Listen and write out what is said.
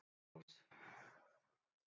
Bergrós